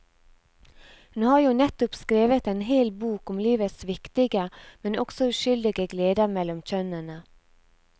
Hun har jo nettopp skrevet en hel bok om livets viktige, men også uskyldige gleder mellom kjønnene.